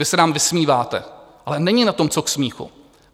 Vy se nám vysmíváte, ale není na tom co k smíchu.